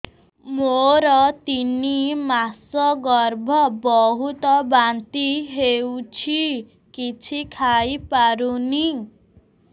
ମୋର ତିନି ମାସ ଗର୍ଭ ବହୁତ ବାନ୍ତି ହେଉଛି କିଛି ଖାଇ ପାରୁନି